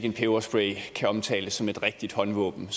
en peberspray kan omtales som et rigtigt håndvåben